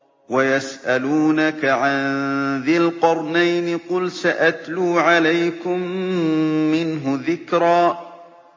وَيَسْأَلُونَكَ عَن ذِي الْقَرْنَيْنِ ۖ قُلْ سَأَتْلُو عَلَيْكُم مِّنْهُ ذِكْرًا